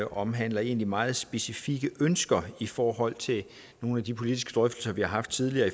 omhandler egentlig meget specifikke ønsker i forhold til nogle af de politiske drøftelser vi har haft tidligere